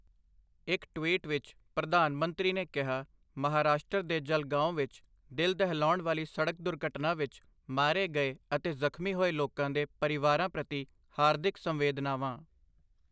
ਇੱਕ ਟਵੀਟ ਵਿੱਚ, ਪ੍ਰਧਾਨ ਮੰਤਰੀ ਨੇ ਕਿਹਾ, ਮਹਾਰਾਸ਼ਟਰ ਦੇ ਜਲਗਾਓਂ ਵਿੱਚ ਦਿਲ ਦਹਿਲਾਉਣ ਵਾਲੀ ਸੜਕ ਦੁਰਘਟਨਾ ਵਿੱਚ ਮਾਰੇ ਗਏ ਅਤੇ ਜ਼ਖ਼ਮੀ ਹੋਏ ਲੋਕਾਂ ਦੇ ਪਰਿਵਾਰਾਂ ਪ੍ਰਤੀ ਹਾਰਦਿਕ ਸੰਵੇਦਨਾਵਾਂ।